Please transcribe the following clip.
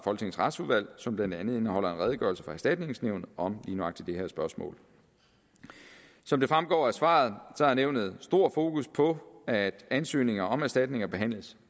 retsudvalg som blandt andet indeholder en redegørelse fra erstatningsnævnet om lige nøjagtig det her spørgsmål som det fremgår af svaret har nævnet stort fokus på at ansøgninger om erstatninger behandles